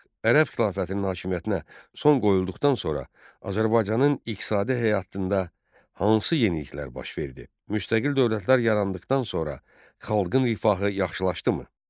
Ərəb xilafətinin hakimiyyətinə son qoyulduqdan sonra Azərbaycanın iqtisadi həyatında hansı yeniliklər baş verdi, müstəqil dövlətlər yarandıqdan sonra xalqın rifahı yaxşılaşdımı?